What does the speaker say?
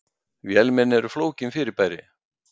Vélmenni eru flókin fyrirbæri.